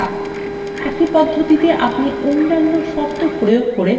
আমাদের ফলাফল হবে মিথ্যা